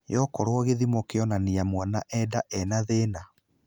Yo okoro githimo kĩonania mwana e nda ena thĩna.